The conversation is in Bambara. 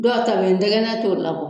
Dɔw ta bɛ yen ntɛgɛnɛ t'o labɔ